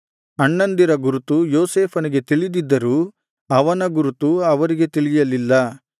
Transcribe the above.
ಅಣ್ಣಂದಿರ ಗುರುತು ಯೋಸೇಫನಿಗೆ ತಿಳಿದಿದ್ದರೂ ಅವನ ಗುರುತು ಅವರಿಗೆ ತಿಳಿಯಲಿಲ್ಲ